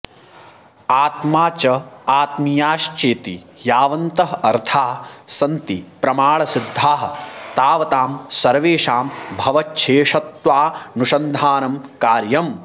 आत्मा च आत्मीयाश्चेति यावन्तः अर्थाः सन्ति प्रमाणसिद्धाः तावतां सर्वेषां भगवच्छेषत्वानुसन्धानं कार्यम्